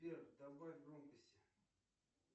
сбер добавь громкости